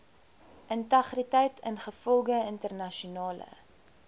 integriteit ingevolge internasionale